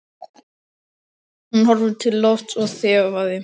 Hún horfði til lofts og þefaði.